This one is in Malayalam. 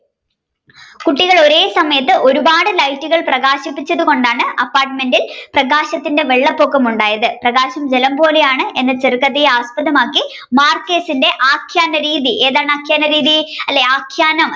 കുട്ടികൾ ഒരേ സമയത് ഒരുപാട് ലൈറ്റുകൾ പ്രകാശിപ്പിച്ചതുകൊണ്ടാണ് Apartment ഇൽ പ്രകാശത്തിന്റെ വെള്ളപൊക്കമുണ്ടായത് പ്രകാശം ജലം പോലെയാണ് എന്ന ചെറു കഥയെ ആസ്പദമാക്കി Marcquez ന്റെ ആഖ്യാന രീതി ഏതാണ് ആഖ്യാന രീതി അല്ലെ ആഖ്യാന